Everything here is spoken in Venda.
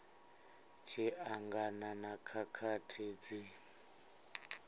tshi angana na khakhathi dzi